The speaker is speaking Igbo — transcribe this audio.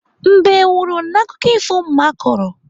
Mbe nwụrụ n'akụkọ ifo mma kọrọ.